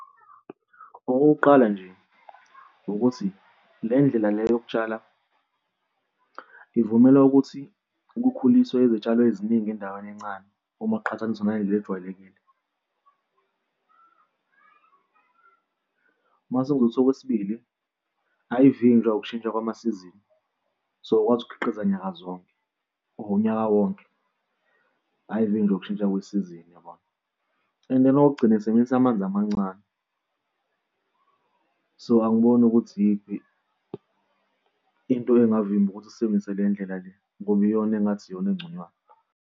Okokuqala nje ukuthi le ndlela le yokutshala ivumela ukuthi ukukhuliswa izitshalo eziningi endaweni encane uma kuqhathaniswa nale ejwayelekile. Uma sewukuthi okwesibili, ayivinjwa ukushintsha kwamasizini, so ukwazi ukukhiqiza nyanga zonke or unyaka wonke, ayivinjwa ukushintsha kwesizini yabona? And then okokugcina isebenzisa amanzi amancane. So angiboni ukuthi iyiphi into engavimba ukuthi sisebenzise le ndlela le ngoba iyona engathi iyona engconywana.